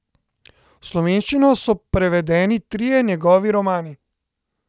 V slovenščino so prevedeni trije njegovi romani.